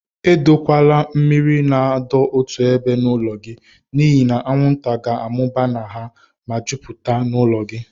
Edokwala mmiri na adọ otu ébé n'ụlọ gị n'ihi na anwụnta ga-amụba na ha, ma jupụtakwa n'ụlọ gị.